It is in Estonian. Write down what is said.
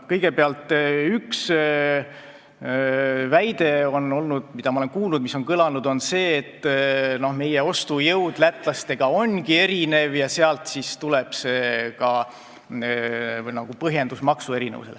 Üks väide, mida ma olen kuulnud ja mis on kõlanud, on see, et meie ostujõud lätlaste omaga võrreldes ongi erinev ja sealt tuleb ka see maksuerinevuse põhjendus.